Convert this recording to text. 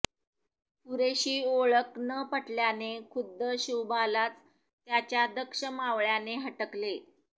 पुरेशी ओळख न पटल्याने खुद्द शिवबालाच त्याच्या दक्ष मावळ्याने हटकले